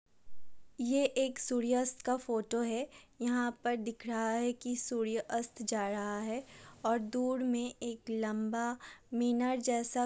ये एक सूर्य-अस्त का फ़ोटो है | यहाँ पर दिख रहा है कि सूर्य-अस्त जा रहा है और दूर में एक लम्बा मीनर जैसा --